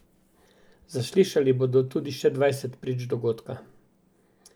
Zaslišali bodo tudi še dvajset prič dogodka.